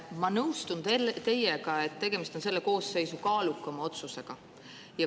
Ma nõustun teiega, et tegemist on selle koosseisu kaalukaima otsusega.